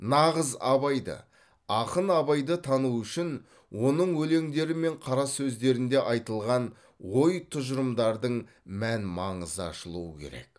нағыз абайды ақын абайды тану үшін оның өлеңдері мен қарасөздерінде айтылған ой тұжырымдардың мән маңызы ашылуы керек